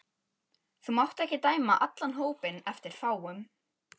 Þú mátt ekki dæma allan hópinn eftir fáum.